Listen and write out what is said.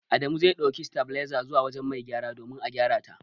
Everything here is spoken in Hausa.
Adamu zai ɗauki sitabiliza zuwa wujen mai gyaran domin a gyarata.